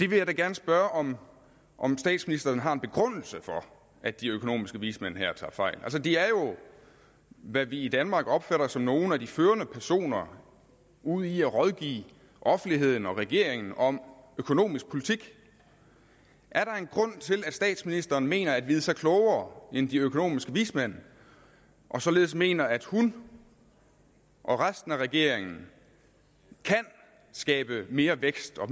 vil da gerne spørge om om statsministeren har en begrundelse for at de økonomiske vismænd her tager fejl de er jo hvad vi i danmark opfatter som nogle af de førende personer ud i at rådgive offentligheden og regeringen om økonomisk politik er der en grund til at statsministeren mener at vide sig klogere end de økonomiske vismænd og således mener at hun og resten af regeringen kan skabe mere vækst og